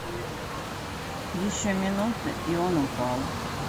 еще минута и он упал